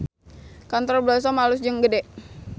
Kantor Blossom alus jeung gede